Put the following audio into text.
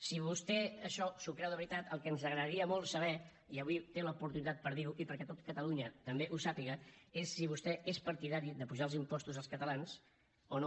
si vostè això s’ho creu de veritat el que ens agradaria molt saber i avui té l’oportunitat per dir ho i perquè tot catalunya també ho sàpiga és si vostè és partidari d’apujar els impostos als catalans o no